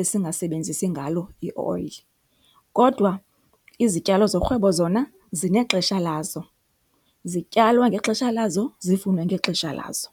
esingasebenzisi ngalo ioyile kodwa izityalo zorhwebo zona zinexesha lazo. Zityalwa ngexesha lazo, zivunwe ngexesha lazo.